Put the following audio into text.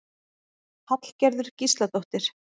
Hallgerður Gísladóttir.